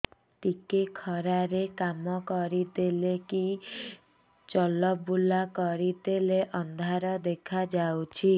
ଟିକେ ଖରା ରେ କାମ କରିଦେଲେ କି ଚଲବୁଲା କରିଦେଲେ ଅନ୍ଧାର ଦେଖା ହଉଚି